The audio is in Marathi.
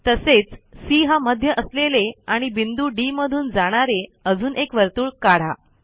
तसेच सी हा मध्य असलेले आणि बिंदू डी मधून जाणारे अजून एक वर्तुळ काढा